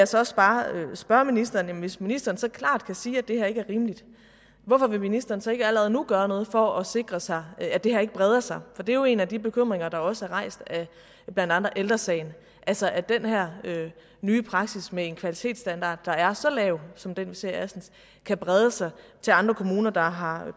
så også bare spørge ministeren hvis ministeren så klart kan sige at det her ikke er rimeligt hvorfor vil ministeren så ikke allerede nu gøre noget for at sikre sig at det her ikke breder sig for det er jo en af de bekymringer der også er rejst af blandt andet ældre sagen altså at den her nye praksis med en kvalitetsstandard der er så lav som den vi ser i assens kan brede sig til andre kommuner der har